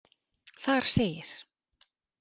Þar segir.